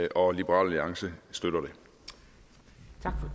og liberal alliance støtter